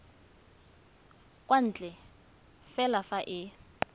kwa ntle fela fa e